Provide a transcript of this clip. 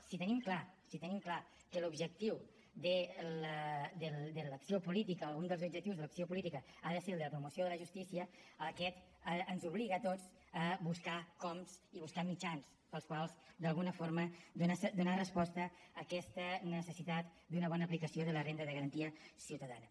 si tenim clar si ho tenim clar que l’objectiu de l’acció política o un dels objectius de l’acció política ha de ser el de la promoció de la justícia aquest ens obliga a tots a buscar coms i buscar mitjans pels quals d’alguna forma donar resposta a aquesta necessitat d’una bona aplicació de la renda de garantia ciutadana